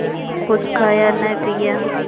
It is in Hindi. कुछ खाया न पिया